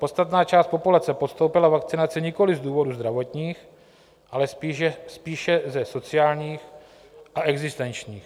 Podstatná část populace podstoupila vakcinaci nikoliv z důvodů zdravotních, ale spíše ze sociálních a existenčních.